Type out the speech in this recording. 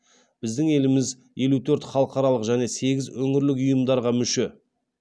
біздің еліміз елу төрт халықаралық және сегіз өңірлік ұйымдарға мүше